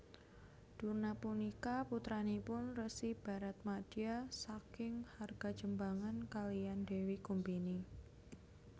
Durna punika putranipun Resi Baratmadya saking Hargajembangan kaliyan Dewi Kumbini